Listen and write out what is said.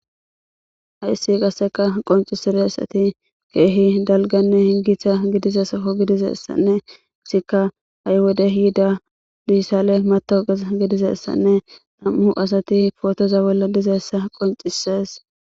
haissi qasseka qoncisire asati keehi dalganne hingitha gidize sako gidize essanne issikka ha7y wode yiida dissale matowoqes gidizessanne nam7u asati fotoza bolla dizeessa qoncisees